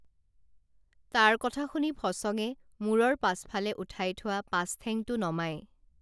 তাৰ কথা শুনি ফচঙে মূৰৰ পাছফালে উঠাই থোৱা পাছঠেংটো নমাই